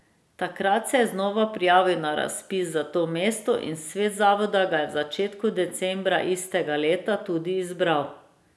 Takrat se je znova prijavil na razpis za to mesto in svet zavoda ga je v začetku decembra istega leta tudi izbral.